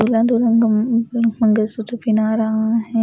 पीला रहा हैं।